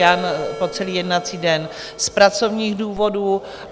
Jan po celý jednací den z pracovních důvodů.